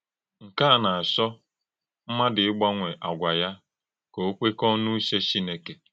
Nkè a na - àchọ̄ ḿmádụ̣ ị́gbanwè àgwà ya kà ó kwekọọ̄ n’ùchè Chí́nẹ́kè.